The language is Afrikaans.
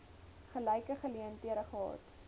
gelyke geleenthede gehad